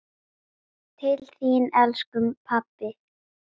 Til þín, elsku pabbi.